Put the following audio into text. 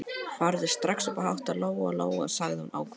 Farðu strax upp að hátta, Lóa-Lóa, sagði hún ákveðin.